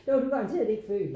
Der var du garanteret ikke født